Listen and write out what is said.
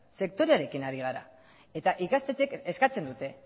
sektorearekin ari gara eta ikastetxeek eskatzen dute